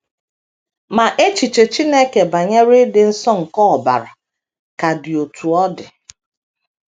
Ma, echiche Chineke banyere ịdị nsọ nke ọbara ka dị otú ọ dị.